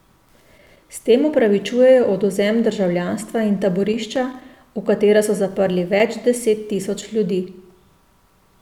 S tem opravičujejo odvzem državljanstva in taborišča, v katera so zaprli več deset tisoč ljudi.